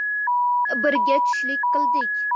Birga tushlik qildik.